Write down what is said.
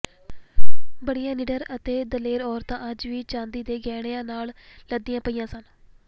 ਬੜੀਆਂ ਨਿਡਰ ਅਤੇ ਦਲੇਰ ਔਰਤਾਂ ਅੱਜ ਵੀ ਚਾਂਦੀ ਦੇ ਗਹਿਣਿਆਂ ਨਾਲ ਲੱਦੀਆਂ ਪਈਆਂ ਸਨ